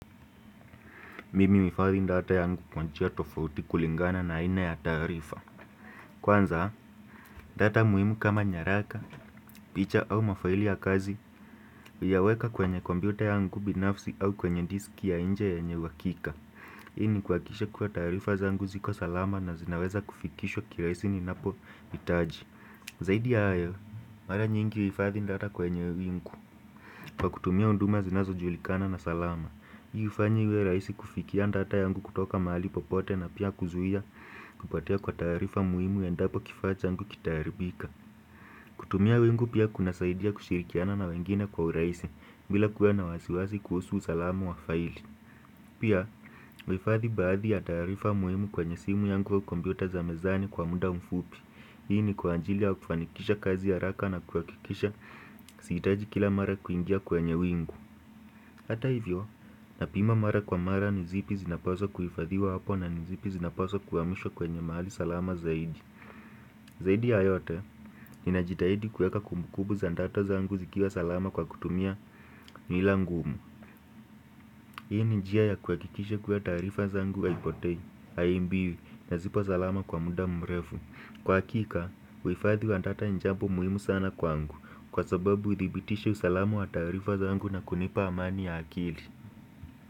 Mimi huhifadhi data yangu kwa njia tofauti kulingana na aina ya taarifa Kwanza, data muhimu kama nyaraka, picha au mafaili ya kazi huyaweka kwenye kompyuta yangu binafsi au kwenye diski ya nje yenye uhakika. Hii ni kuhakikisha kuwa taarifa zangu ziko salama na zinaweza kufikishwa kirahisi ninapohitaji Zaidi ya hayo, mara nyingi huhifadhi data kwenye wingu kwa kutumia huduma zinazojulikana na salama. Hii huifanya iwe rahisi kufikia data yangu kutoka mahali popote na pia kuzuia kupotea kwa taarifa muhimu endapo kifaa changu kitaharibika. Kutumia wingu pia kunasaidia kushirikiana na wengine kwa urahisi bila kuwa na wasiwasi kuhusu usalama wa faili Pia huhifadhi baadhi ya taarifa muhimu kwenye simu yangu au kompyuta za mezani kwa muda mfupi. Hii ni kwa ajili ya kufanikisha kazi haraka na kuhakikisha sihitaji kila mara kuingia kwenye wingu. Hata hivyo, napima mara kwa mara ni zipi zinapaswa kuhifadhiwa hapo na ni zipi zinapaswa kuhamishwa kwenye mahali salama zaidi. Zaidi ya yote, ninajitahidi kuweka kumbukumbu za data zangu zikiwa salama kwa kutumia nila ngumu. Hii ni njia ya kuhakikisha kuwa taarifa zangu haipotei, haiibiwi na zipo salama kwa muda mrefu. Kwa hakika, uhifadhi wa data ni jambo muhimu sana kwangu, kwa sababu hudhibitisha usalama wa taarifa zangu na kunipa amani ya akili.